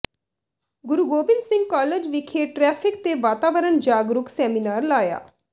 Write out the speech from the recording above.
ਗੁਰੂ Gobind Singh college ਵਿਖੇ traffic ਤੇ ਵਾਤਾਵਰਨ ਜਾਗਰੂਕ ਸੈਮੀਨਾਰ ਲਾਇਆ